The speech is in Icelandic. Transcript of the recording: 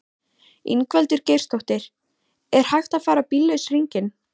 Ingveldur Geirsdóttir: Er hægt að fara bíllaus hringinn?